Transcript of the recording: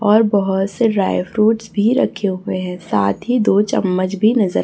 और बहोत से ड्राई फ्रूटस भी रखे हुए है साथ ही दो चम्मच भी नजर--